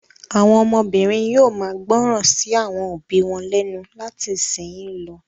Àwọn ọmọbìnrin yóò máa gbọ́ràn sí àwọn òbí wọn lẹ́nu láti ìsìnyín lọ.